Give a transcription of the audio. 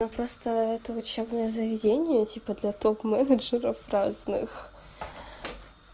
но просто это учебное заведения типа для топ-менеджеров разных